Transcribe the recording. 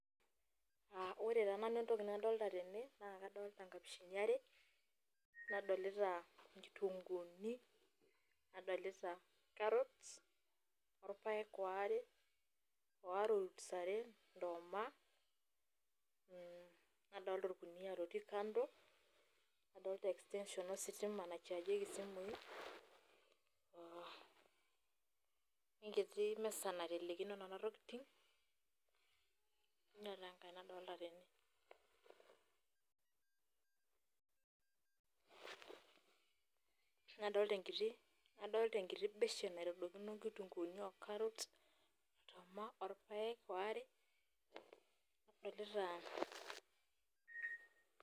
Ore taa nanu entoki nadolita tene, naa kadolita nkapishini are, nadolita nkitunguni , nadolita carrots orpaek ware, waare oltusaret, ndooma, nadolita orkunia oti kando, nadolita extension ositima naati kando naichargieku simu, wenkiti misa naitelekino nena tokitin, kainyoo dii enkae nadolita tene pause. Nadolita enkiti beshen naitadokino nkitunkuni oo carrots ndooma, orpaek waare, nadolita.